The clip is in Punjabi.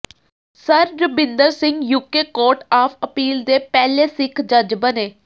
sir Rabinder Singh UK court of appeal ਦੇ ਪਹਿਲੇ ਸਿੱਖ ਜੱਜ ਬਣੇ